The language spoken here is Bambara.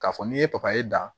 K'a fɔ n'i ye papaye da